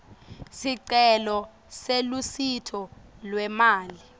sicelo selusito lwemali